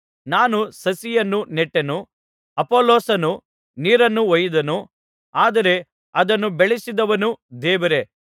ನಾನು ಸಸಿಯನ್ನು ನೆಟ್ಟೆನು ಅಪೊಲ್ಲೋಸನು ನೀರನ್ನು ಹೊಯ್ಯಿದನು ಆದರೆ ಅದನ್ನು ಬೆಳೆಸಿದವನು ದೇವರೇ